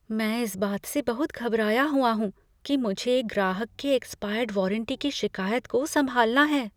मैं इस बात से बहुत घबराया हुआ हूँ कि मुझे एक ग्राहक के एक्सपायर्ड वारंटी की शिकायत को संभालना है।